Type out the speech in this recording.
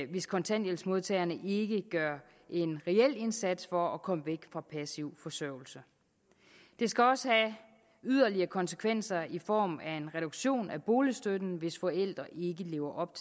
hvis kontanthjælpsmodtagerne ikke gør en reel indsats for at komme væk fra passiv forsørgelse det skal også have yderligere konsekvenser i form af en reduktion af boligstøtten hvis forældre ikke lever op